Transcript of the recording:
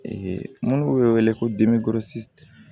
minnu bɛ wele ko